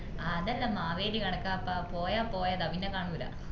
അതെല്ലാം മാവേലി കണക്കപ്പ പോയ പോയതാ പിന്നെ കാണൂല